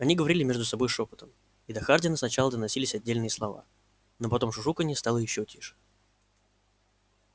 они говорили между собой шёпотом и до хардина сначала доносись отдельные слова но потом шушуканье стало ещё тише